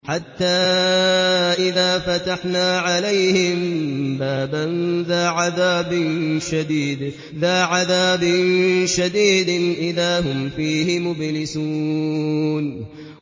حَتَّىٰ إِذَا فَتَحْنَا عَلَيْهِم بَابًا ذَا عَذَابٍ شَدِيدٍ إِذَا هُمْ فِيهِ مُبْلِسُونَ